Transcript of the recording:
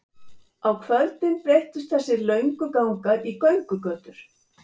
Á kvöldin breyttust þessir löngu gangar í göngugötur.